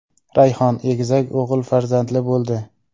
Rayhon egizak o‘g‘il farzandli bo‘ldi.